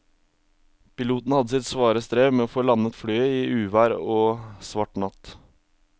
Piloten hadde sitt svare strev med å få landet flyet i uvær og svart natt.